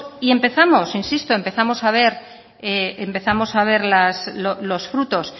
y empezamos insisto empezamos a ver los frutos